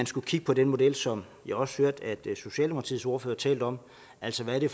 skulle kigge på den model som jeg også hørte socialdemokratiets ordfører talte om altså hvad det